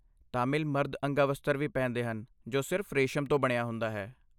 ਤਾਮਿਲ ਮਰਦ ਅੰਗਾਵਸਤਰ ਵੀ ਪਹਿਨਦੇ ਹਨ ਜੋ ਸਿਰਫ ਰੇਸ਼ਮ ਤੋਂ ਬਣਿਆ ਹੁੰਦਾ ਹੈ।